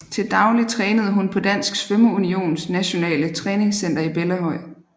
Til daglig trænede hun på Dansk Svømmeunions Nationale Træningscenter i Bellahøj